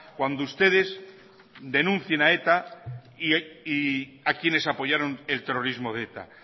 cuando ustedes denuncien a eta y a quienes apoyaron el terrorismo de eta